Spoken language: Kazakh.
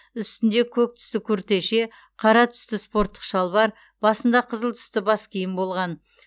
үстінде көк түсті күртеше қара түсті спорттық шалбар басында қызыл түсті бас киім болған